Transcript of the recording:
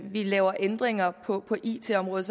vi laver ændringer på it området